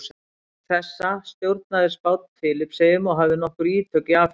Auk þessa stjórnaði Spánn Filippseyjum og hafði nokkur ítök í Afríku.